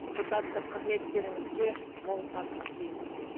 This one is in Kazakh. депутаттық қызметтеріңізге мол табыс тілейміз